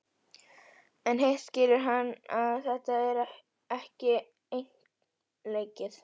En hitt skilur hann að þetta er ekki einleikið.